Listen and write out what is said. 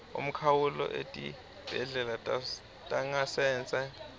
umkhawulo etibhedlela tangasese